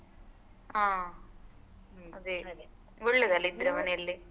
ಹಾ ಒಳ್ಳೆದಲ್ಲ ಇದ್ರೆ ಮನೆಯಲ್ಲಿ.